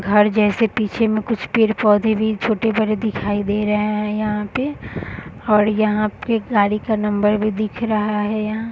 घर जैसे पीछे में कुछ पेड़-पौधे भी छोटे-बड़े दिखाई दे रहे हैं यहां पे और यहां पे गाड़ी का नंबर भी दिख रहा है यहाँ --